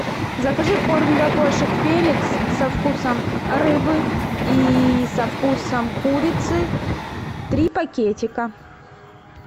закажи корм для кошек феликс со вкусом рыбы и со вкусом курицы три пакетика